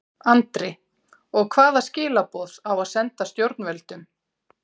Andri: Og hvaða skilaboð á að senda stjórnvöldum?